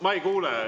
Ma ei kuule.